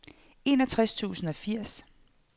enogtres tusind og firs